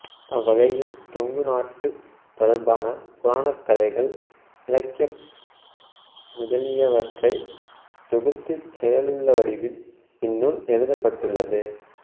அவ்வகையில் கொங்கு நாடு தொடர்பான புராணக் கதைகள் இலக்கியம் முதலியவற்றைத் தொகுத்துச் செய்யுள் வடிவில் இந்நூல் எழுதப்பட்டுள்ளது